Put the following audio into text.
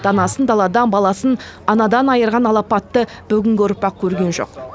данасын даладан баласын анадан айырған алапатты бүгінгі ұрпақ көрген жоқ